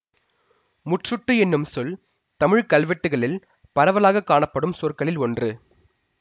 முற்றுட்டு என்னும் சொல் தமிழ் கல்வெட்டுகளில் பரவலாக காணப்படும் சொற்களில் ஒன்று